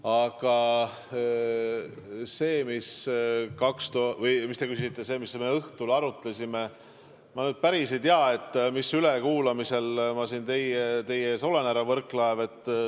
Aga see, mida te küsisite, et mida me sel õhtul arutasime – ma nüüd päriselt ei tea, mis ülekuulamisel ma siin teie ees olen, härra Võrklaev.